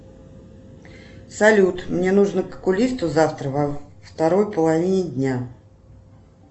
салют мне нужно к окулисту завтра во второй половине дня